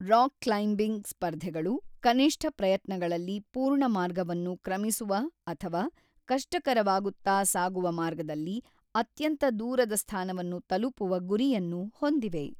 Rock climbing ಸ್ಪರ್ಧೆಗಳು ಕನಿಷ್ಠ ಪ್ರಯತ್ನಗಳಲ್ಲಿ ಪೂರ್ಣ ಮಾರ್ಗವನ್ನು ಕ್ರಮಿಸುವ ಅಥವಾ ಕಷ್ಟಕರವಾಗುತ್ತಾ ಸಾಗುವ ಮಾರ್ಗದಲ್ಲಿ ಅತ್ಯಂತ ದೂರದ ಸ್ಥಾನವನ್ನು ತಲುಪುವ ಗುರಿಯನ್ನು ಹೊಂದಿವೆ.